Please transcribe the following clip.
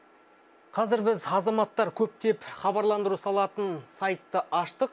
қазір біз азаматтар көптеп хабарландыру салатын сайтты аштық